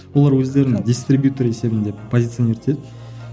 олар өздерін дистрибьютор есебінде позиционировать етеді